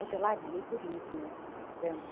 Hotelaria e turismo, está vendo?